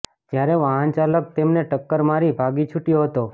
જ્યારે વાહન ચાલક તેમને ટક્કર મારી ભાગી છૂટયો હતો